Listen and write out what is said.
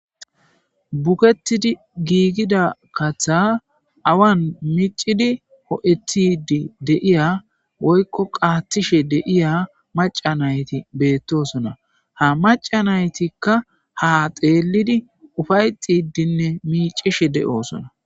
Bugetidi giigida katha awan micidi ho7ethidi deiya woykko qaathishe deiya maca nayti beettosona ha maca naytikka ha xeelidi ufayxidinne miicishe de7oosona.